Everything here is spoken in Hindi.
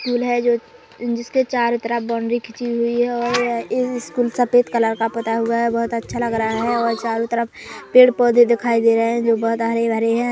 स्कूल है जो जिस के चारों तरफ बॉन्डरी खिची हुई है और इस स्कूल सफेद कलर का पुता हुआ है बोहोत अच्छा लग रहा है और चारों तरफ पेड़ पौधे दिखाई दे रहे है जो बोहोत हरे भरे है।